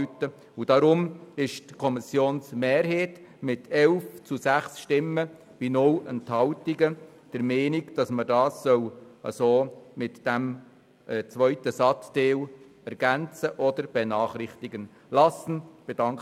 Deshalb ist die Kommissionsmehrheit mit 11 zu 6 Stimmen bei 0 Enthaltungen der Meinung, dass man diesen Satzteil «oder benachrichtigen zu lassen» ergänzen soll.